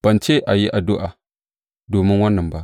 Ban ce a yi addu’a domin wannan ba.